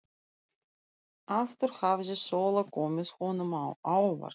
Aftur hafði Sóla komið honum á óvart.